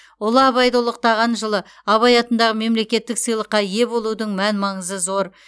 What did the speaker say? ұлы абайды ұлықтаған жылы абай атындағы мемлекеттік сыйлыққа ие болудың мән маңызы зор